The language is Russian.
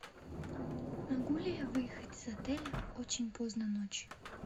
могу ли я выехать из отеля очень поздно ночью